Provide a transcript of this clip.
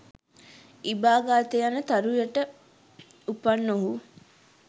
ඉබාගතේ යන තරු යට උපන් ඔහු